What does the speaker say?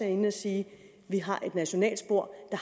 inde at sige at vi har et nationalt spor men